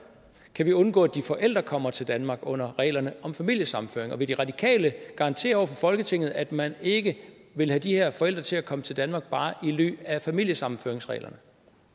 kan vi undgå at de forældre kommer til danmark under reglerne om familiesammenføring og vil de radikale garantere over for folketinget at man ikke vil have de her forældre til at komme til danmark bare i ly af familiesammenføringsreglerne